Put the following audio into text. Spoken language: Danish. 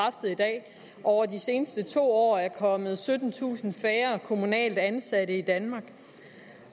at over de seneste to år er kommet syttentusind færre kommunalt ansatte i danmark